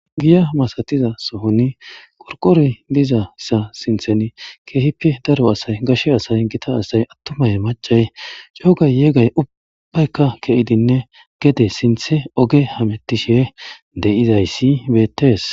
Giya masatiza sohoni qorqoroy dizayssa sinthani keehippe daro asay gashe asay gita asay attumay maccay ceegay yoogay ubbayka ke7idinne gede sinthe hamettishe de7izayssi beettees.